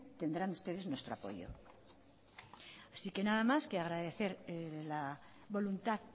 tendrán ustedes nuestro apoyo así que nada más que agradecer la voluntad